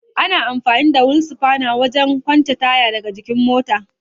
Ana amfani da wil sifana wajen kwance taya daga jikin mota.